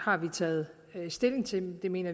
har vi taget stilling til og vi mener